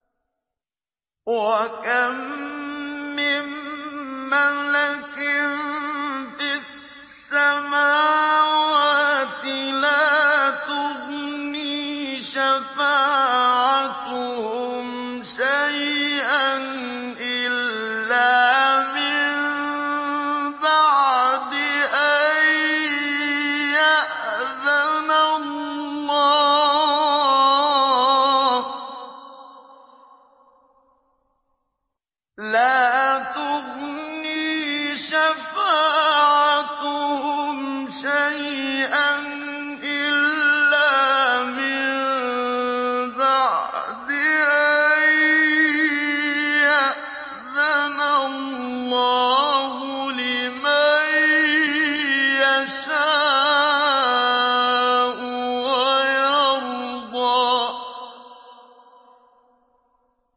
۞ وَكَم مِّن مَّلَكٍ فِي السَّمَاوَاتِ لَا تُغْنِي شَفَاعَتُهُمْ شَيْئًا إِلَّا مِن بَعْدِ أَن يَأْذَنَ اللَّهُ لِمَن يَشَاءُ وَيَرْضَىٰ